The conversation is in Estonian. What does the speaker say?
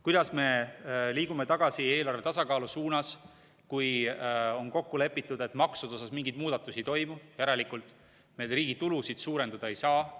Kuidas me liigume tagasi eelarve tasakaalu suunas, kui on kokku lepitud, et maksude osas mingeid muudatusi ei toimu, järelikult need riigi tulusid suurendada ei saa.